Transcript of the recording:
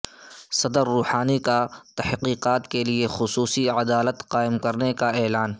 صدر روحانی کا تحقیقات کے لیے خصوصی عدالت قائم کرنے کا اعلان